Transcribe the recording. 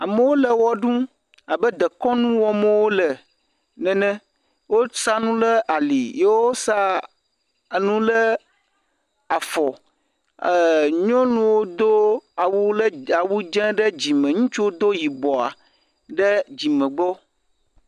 Amewo le ɣeɖum abe dekɔnu wɔm wole nene, wosa nu ɖe ali yewosa enu ɖe afɔ. nyɔnuwo do awu dzē ɖe dzime, ŋutsuwo do yibɔa ɖe dzime gbɔ.